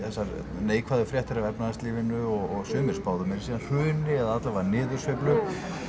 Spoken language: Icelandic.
þessar neikvæðu fréttir af efnahagslífinu og sumir spáðu meira að segja hruni eða alla vega niðursveiflu